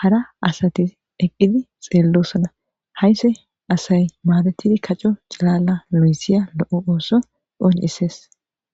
hara asati eqqidi xeellossona hayse asay maadetidi kaco calala lu7yssiya lo7o ooso oon issees